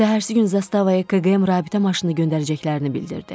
Səhərisi gün zastavaya KQM rabitə maşını göndərəcəklərini bildirdi.